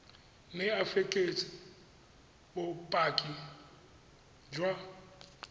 mme o fekese bopaki jwa